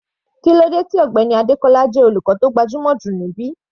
Kílódé tí Mr Adekola jẹ́ olùkọ́ tó gbajúmọ̀ jù níbí?